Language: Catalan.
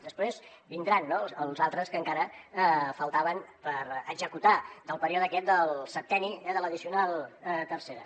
després vindran no els altres que encara faltaven per executar del període aquest del septenni de l’addicional tercera